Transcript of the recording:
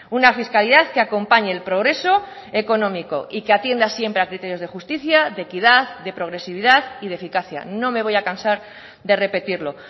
una fiscalidad que acompañe el progreso económico y que atienda siempre a criterios de justicia de equidad de progresividad y de eficacia no me voy a cansar de repetirlo